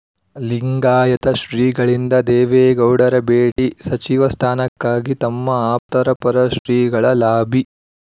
ಲಿಂಗಾಯತ ಶ್ರೀಗಳಿಂದ ದೇವೇಗೌಡರ ಭೇಟಿ ಸಚಿವ ಸ್ಥಾನಕ್ಕಾಗಿ ತಮ್ಮ ಆಪ್ತರ ಪರ ಶ್ರೀಗಳ ಲಾಬಿ